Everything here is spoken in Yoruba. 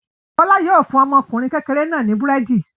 Bọ́lá yóò fún ọmọkùnrin kékeré náà ní búrẹ́dì.